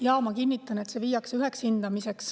Jaa, ma kinnitan, et üks hindamine.